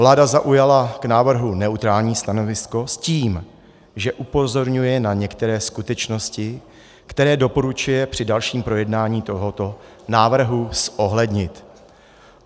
Vláda zaujala k návrhu neutrální stanovisko s tím, že upozorňuje na některé skutečnosti, které doporučuje při dalším projednávání tohoto návrhu zohlednit.